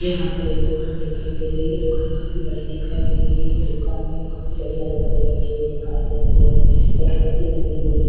यहाँ पर एक दूकान दिखाई दे रही है दूकान काफी बड़ी दिखाई दे रही है दूकान में काफी बड़ी आलमारी रखी हुई दिखाई दे रही है एक रस्सी बंधी हुई है।